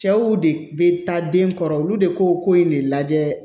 Cɛw de bɛ taa den kɔrɔ olu de ko ko in de lajɛ